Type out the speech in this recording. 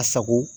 A sago